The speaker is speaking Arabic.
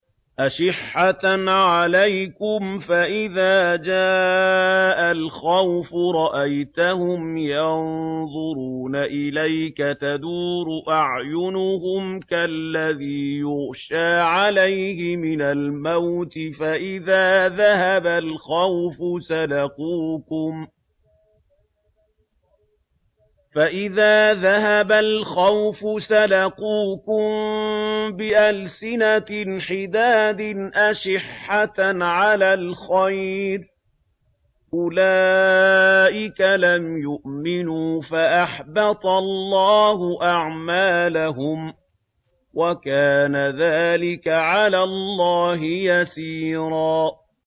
أَشِحَّةً عَلَيْكُمْ ۖ فَإِذَا جَاءَ الْخَوْفُ رَأَيْتَهُمْ يَنظُرُونَ إِلَيْكَ تَدُورُ أَعْيُنُهُمْ كَالَّذِي يُغْشَىٰ عَلَيْهِ مِنَ الْمَوْتِ ۖ فَإِذَا ذَهَبَ الْخَوْفُ سَلَقُوكُم بِأَلْسِنَةٍ حِدَادٍ أَشِحَّةً عَلَى الْخَيْرِ ۚ أُولَٰئِكَ لَمْ يُؤْمِنُوا فَأَحْبَطَ اللَّهُ أَعْمَالَهُمْ ۚ وَكَانَ ذَٰلِكَ عَلَى اللَّهِ يَسِيرًا